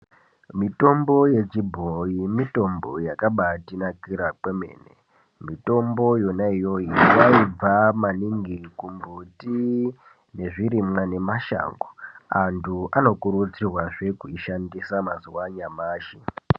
Mitombo yechibhoi mitombo yaka batinakira kwemene. Mitombo yona iyoyo yaibva maningi kumbuti nezvirimwa nemashango. Antu ano kuru dzirwazve kuishandisa mazuva anyamashi.